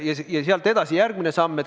Ja sealt edasi tuleb järgmine samm.